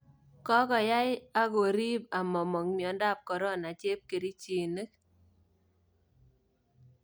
Kokoyai ak koriib amamong myondab corona cheebkerichiinik